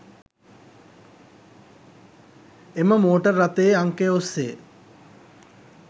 එම මෝටර් රථයේ අංකය ඔස්‌සේ